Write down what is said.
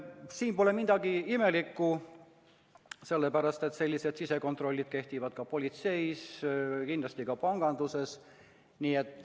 Siin pole midagi imelikku, sellised sisekontrollid kehtivad ka politseis ja kindlasti ka panganduses.